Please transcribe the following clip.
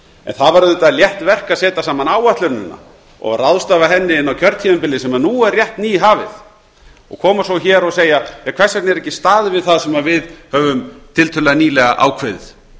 en það var auðvitað létt verk að setja saman áætlunina og ráðstafa henni inn á kjörtímabilið sem nú er rétt nýhafið og koma svo hér og segja hvers vegna er ekki staðið við það sem við höfum tiltölulega nýlega ákveðið